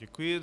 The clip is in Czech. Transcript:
Děkuji.